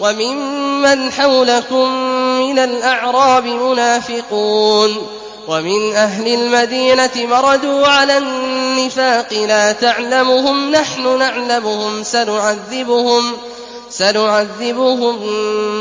وَمِمَّنْ حَوْلَكُم مِّنَ الْأَعْرَابِ مُنَافِقُونَ ۖ وَمِنْ أَهْلِ الْمَدِينَةِ ۖ مَرَدُوا عَلَى النِّفَاقِ لَا تَعْلَمُهُمْ ۖ نَحْنُ نَعْلَمُهُمْ ۚ سَنُعَذِّبُهُم